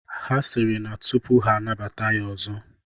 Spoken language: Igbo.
Ha sịrị na tụpụ ha anabata ya ọzọ,